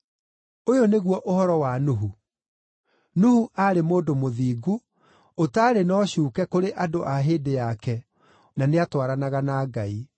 Ũyũ nĩguo ũhoro wa Nuhu. Nuhu aarĩ mũndũ mũthingu, ũtaarĩ na ũcuuke kũrĩ andũ a hĩndĩ yake, na nĩatwaranaga na Ngai.